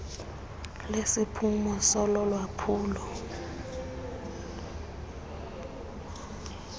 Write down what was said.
lesiphumo solo lwaphulo